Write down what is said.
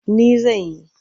Ni zan yi.